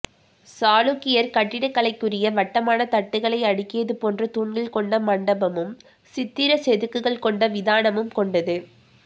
சாளுக்கியர் கட்டிடக்கலைக்குரிய வட்டமான தட்டுகளை அடுக்கியதுபோன்ற தூண்கள் கொண்ட மண்டபகும் சித்திரச்செதுக்குகள் கொண்ட விதானமும் கொண்டது